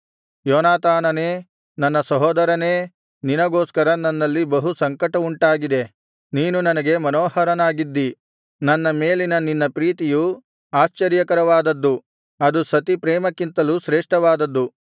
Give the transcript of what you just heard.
ಯೋನಾತಾನನೇ ನನ್ನ ಸಹೋದರನೇ ನಿನಗೋಸ್ಕರ ನನ್ನಲ್ಲಿ ಬಹು ಸಂಕಟವುಂಟಾಗಿದೆ ನೀನು ನನಗೆ ಮನೋಹರನಾಗಿದ್ದಿ ನನ್ನ ಮೇಲಿನ ನಿನ್ನ ಪ್ರೀತಿಯು ಆಶ್ಚರ್ಯಕರವಾದದ್ದು ಅದು ಸತಿ ಪ್ರೇಮಕ್ಕಿಂತ ಶ್ರೇಷ್ಠವಾದದ್ದು